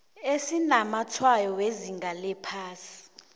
esinamatshwayo wezinga eliphasi